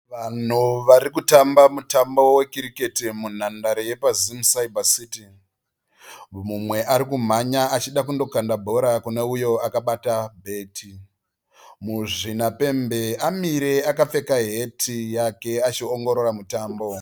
Vanhu varikutamba mutambo we cricket munhandare yepaZim Cyber City. Mumwe arikumhanya achida kundokanda bhora kuneuyo akabata bheti. Muzvinapembe amire akapfeka heti yake achiongorora mutambo uyu.